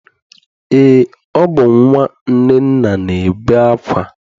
Eé, ọ bụ nnwa Nnenna na-ebe akwa.